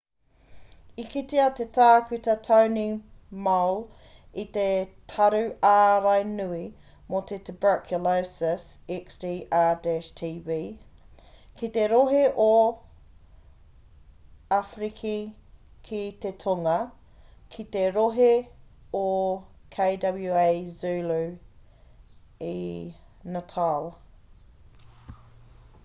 i kitea e tākuta tony moll i te taru ārai nui mō te tuberculosis xdr-tb ki te rohe o awhiriki ki te tonga ki te rohe o kwazulu i natal